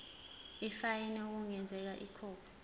ifayini okungenzeka ikhokhwe